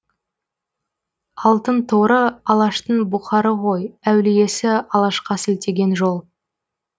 алтынторы алаштың бұқары ғой әулиесі алашқа сілтеген жол